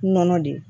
Nɔnɔ de